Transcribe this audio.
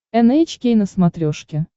эн эйч кей на смотрешке